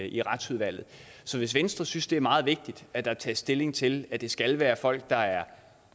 i retsudvalget så hvis venstre synes det er meget vigtigt at der tages stilling til at det skal være folk der er